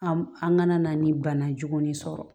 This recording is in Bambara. An an kana na ni bana jugun ne sɔrɔ